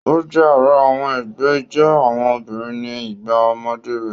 O jẹ àrà àwọn ẹgbẹ ijó àwọn obìnrin ní igbà ọmọdé rẹ.